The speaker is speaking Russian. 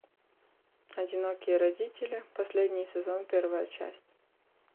одинокие родители последний сезон первая часть